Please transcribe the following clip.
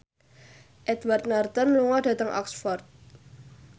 Edward Norton lunga dhateng Oxford